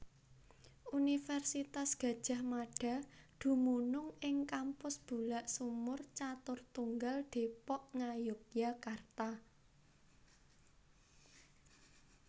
Universitas Gadjah Mada dumunung ing Kampus Bulaksumur Caturtunggal Depok Ngayogyakarta